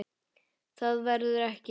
Það verði ekki.